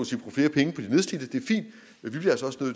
vidt jeg forstår